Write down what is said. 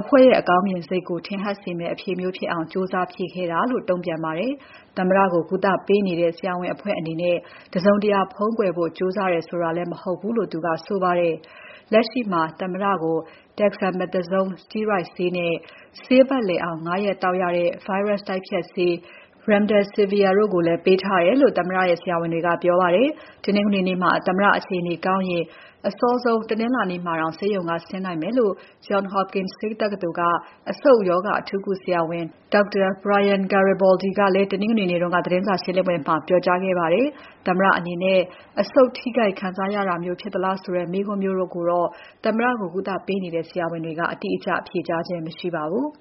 အဖွဲ့ရဲ့အကောင်းမြင်စိတ်ကို ထင်ဟပ်စေမယ့် အဖြေမျိုးဖြစ်အောင် ကြိုးစားဖြေခဲ့တာဖြစ်တယ်လို့ တုံ့ပြန်ပါတယ်။ သမ္မတကို ကုသပေးနေတဲ့ ဆရာဝန်အဖွဲ့အနေနဲ့ တစုံတရာ ဖုံးကွယ်ဖို့ ကြိုးစားတယ်ဆိုတာလည်း မဟုတ်ဘူးလို့ သူကဆိုပါတယ်။ လက်ရှိမှာ သမ္မတကို Dexamethasone စတီးရွိုက်ဆေးနဲ့ ဆေးပါတ်လည်အောင် ၅ ရက်သောက်ရတဲ့ ဗိုင်းရပ်စ်တိုက်ဖျက်ဆေး Remdesivir တို့ပေးထားတယ်လို့လည်း သမ္မတရဲ့ ဆရာဝန်တွေက ပြောပါတယ်။ တနင်္ဂနွေနေ့မှာ သမ္မတအခြေအနေကောင်းရင် အစောဆုံး တနင်္လာနေ့မှာတောင် ဆေးရုံက ဆင်းနိုင်မယ်လို့ Johns Hopkins ဆေးတက္ကသိုလ်က အဆုတ်ရောဂါအထူးကုဆရာဝန် Dr. Brian Garibaldi ကလည်း တနင်္ဂနွေနေ့က သတင်းစာရှင်းပွဲမှာ ပြောကြားခဲ့ပါတယ်။ သမ္မတအနေနဲ့ အဆုတ်ထိခိုက်ခံစားရတာမျိုး ဖြစ်သလားဆိုတဲ့ မေးခွန်းမျိုးကိုတော့ သမ္မတကို ကုသပေးနေတဲ့ ဆရာဝန်တွေက အတိအကျ ဖြေကြားခြင်း မရှိပါဘူး။